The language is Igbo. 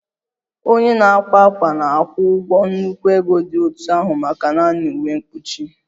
Onye na-akwa ákwà na-akwụ ụgwọ nnukwu ego dị otú ahụ maka naanị uwe mkpuchi